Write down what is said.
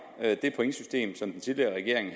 det pointsystem som den tidligere regering